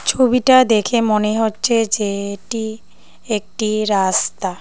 ছবিটা দেখে মনে হচ্ছে যে এটি একটি রাস্তা।